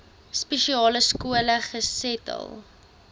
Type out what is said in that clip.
spesiale skole gesetel